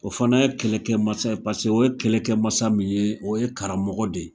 O fana ye kɛlɛkɛmasa pase o ye kɛlɛkɛmasa min ye o ye karamɔgɔ de.